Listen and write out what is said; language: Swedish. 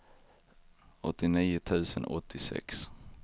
åttionio tusen åttiosex